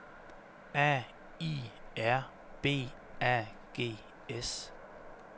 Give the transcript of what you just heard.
A I R B A G S